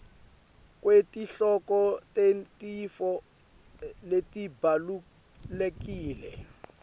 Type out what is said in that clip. kwetihloko tetintfo letibalulekile